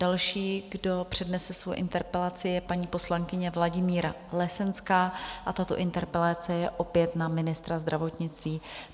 Další, kdo přednese svoji interpelaci, je paní poslankyně Vladimíra Lesenská a tato interpelace je opět na ministra zdravotnictví.